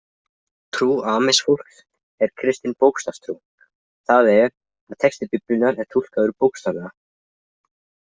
Trú Amish-fólks er kristin bókstafstrú, það er að texti Biblíunnar er túlkaður bókstaflega.